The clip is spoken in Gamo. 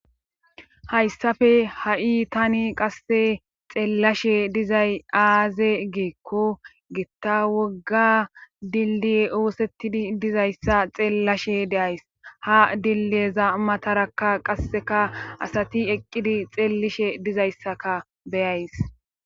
Hayssafe ha7i tani qasse xeellashe dizay aaze geekko gitta wogga dilli oosettidi dizayssa xeellashe deays ha dilleza matarakka qasseka asati eqqidi xeellishe dizayssaka beyays